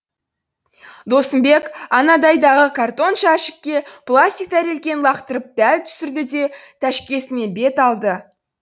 досымбек анадайдағы картон жәшікке пластик тәрелкені лақтырып дәл түсірді де тәшкесіне бет алды